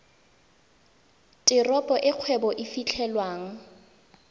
teropo e kgwebo e fitlhelwang